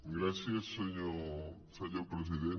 gràcies senyor president